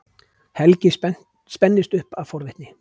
Helgi spennist upp af forvitni.